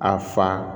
A fa